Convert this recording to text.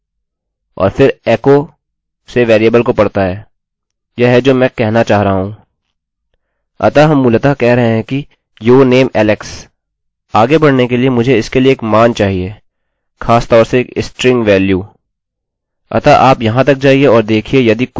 अतः हम मूलतः कह रहे हैं कि your name alex आगे बढ़ने के लिए मुझे इसके लिए एक मान चाहिए खासतौर से एक स्ट्रिंग वेल्यू मान अतः आप यहाँ तक जाइये और देखिये यदि कुछ भी इनपुटinput के रूप में डाला गया है आप देखेंगे कि यह किया गया है यह alex है अतः हमें अब your name is alex मिलना चाहिए